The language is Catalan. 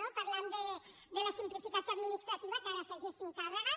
no parlant de la simplificació administrativa que ara hi afegissin càrregues